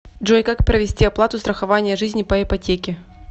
джой как провести оплату страхование жизни по ипотеке